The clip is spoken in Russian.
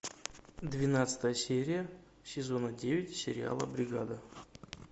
двенадцатая серия сезона девять сериала бригада